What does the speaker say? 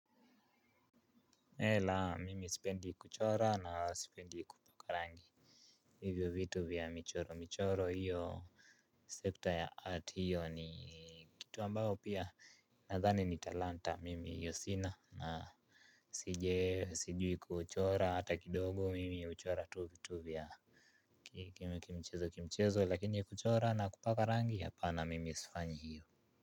Laa, mimi sipendi kuchora na sipendi kupaka rangi. Hivyo vitu vya michoro michoro hiyo Sector ya art hiyo ni kitu ambayo pia nadhani ni talanta, mimi hiyo sina sijui kuchora hata kidogo mimi huchora tu vitu vya kimchezo kimchezo lakini kuchora na kupaka rangi hapa na mimi sifanyi hiyo.